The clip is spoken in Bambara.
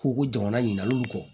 Ko ko jamana ɲinigaliw kɔ